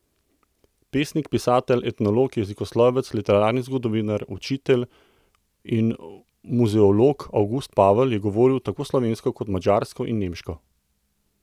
Pesnik, pisatelj, etnolog, jezikoslovec, literarni zgodovinar, učitelj in muzeolog Avgust Pavel je govoril tako slovensko kot madžarsko in nemško.